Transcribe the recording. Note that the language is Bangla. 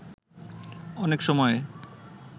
অনেক সময়ে